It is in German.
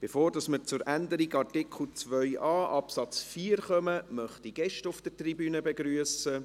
Bevor wir zur Änderung von Artikel 2a Absatz 4 kommen, möchte ich Gäste auf der Tribüne begrüssen.